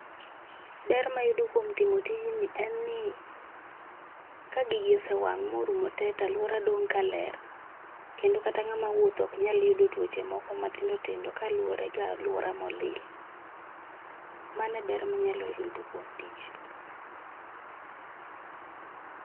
Ber mayudo kuom timo tijni en ni ka gigi osewang morumo tee to aluora dong kaler kendo kata ngama wuotho ok nyal yudo tuoche moko matindo tindo kaluore koda aluora molil. Mano e ber manyalo yudo kuom tich